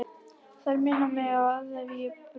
Þær minna mig á að ég hef brugðist.